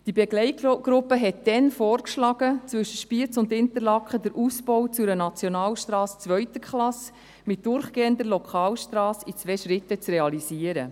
Die Begleitgruppe schlug damals vor, zwischen Spiez und Interlaken den Ausbau zu einer Nationalstrasse zweiter Klasse mit durchgehender Lokalstrasse in zwei Schritten zu realisieren.